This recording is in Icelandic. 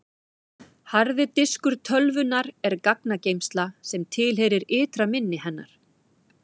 harði diskur tölvunnar er gagnageymsla sem tilheyrir ytra minni hennar